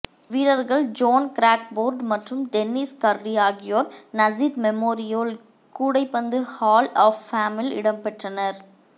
வீரர்கள் John Crawford மற்றும் Dennis Curry ஆகியோர் நஸ்ஸித் மெமோரியல் கூடைப்பந்து ஹால் ஆஃப் ஃபேமில் இடம்பெற்றனர்